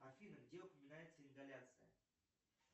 афина где упоминается ингаляция